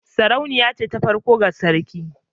Sarauniya ce ta farko ga sarki